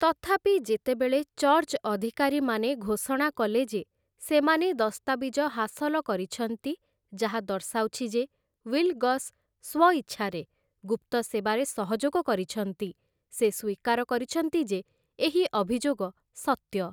ତଥାପି, ଯେତେବେଳେ ଚର୍ଚ୍ଚ ଅଧିକାରୀମାନେ ଘୋଷଣା କଲେ ଯେ ସେମାନେ ଦସ୍ତାବିଜ ହାସଲ କରିଛନ୍ତି ଯାହା ଦର୍ଶାଉଛି ଯେ ୱିଲଗସ୍ ସ୍ୱଇଚ୍ଛାରେ ଗୁପ୍ତ ସେବାରେ ସହଯୋଗ କରିଛନ୍ତି, ସେ ସ୍ୱୀକାର କରିଛନ୍ତି ଯେ ଏହି ଅଭିଯୋଗ ସତ୍ୟ ।